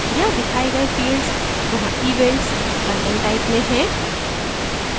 यहाँ दिखाए गए fields वहाँ events content type में है